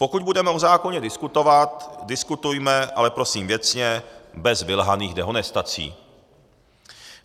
Pokud budeme o zákoně diskutovat, diskutujme, ale prosím věcně, bez vylhaných dehonestací.